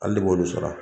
Hali ne b'olu sara